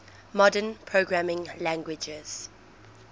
modern programming languages